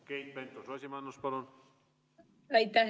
Keit Pentus-Rosimannus, palun!